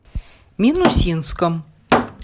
минусинском